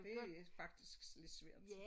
Det faktisk lidt svært